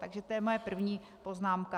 Takže to je moje první poznámka.